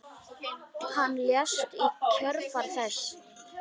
Hann lést í kjölfar þess.